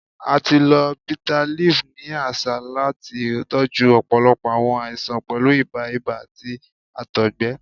A ti lo bitterleaf ni aṣa lati tọju ọpọlọpọ awọn aisan, pẹlu ibà, ibà, ati àtọgbẹ.